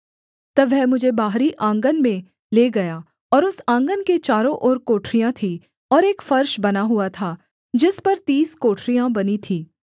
तब वह मुझे बाहरी आँगन में ले गया और उस आँगन के चारों ओर कोठरियाँ थीं और एक फर्श बना हुआ था जिस पर तीस कोठरियाँ बनी थीं